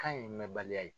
Kan in mɛn baliya ye